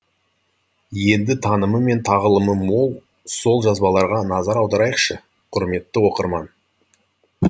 енді танымы мен тағылымы мол сол жазбаларға назар аударайықшы құрметті оқырман